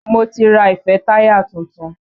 Mo ti ra ìfẹ́táyà tuntun.